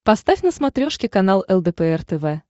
поставь на смотрешке канал лдпр тв